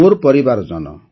ମୋର ପରିବାରଜନ